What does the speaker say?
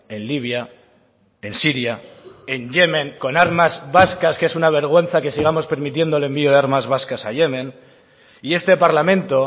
en libia en siria en yemen con armas vascas que es una vergüenza que sigamos permitiendo el envío de armas vascas a yemen y este parlamento